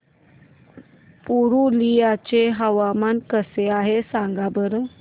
पुरुलिया चे हवामान कसे आहे सांगा बरं